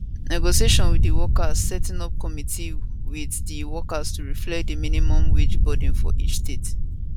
negotiation wit di workers setting up committee wit di workers to reflect di minimum wage burden for each state